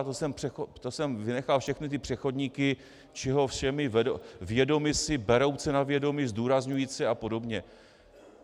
A to jsem vynechal všechny ty přechodníky, čeho všeho vědomi si, berouce na vědomí, zdůrazňujíce a podobně.